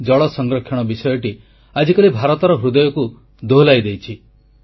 ଜଳ ସଂରକ୍ଷଣ ବିଷୟଟି ଆଜିକାଲି ଭାରତର ହୃଦୟକୁ ଦୋହଲାଇ ଦେଇଛି